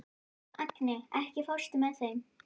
Agni, ekki fórstu með þeim?